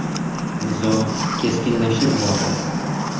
Nizo keskinlashib bordi.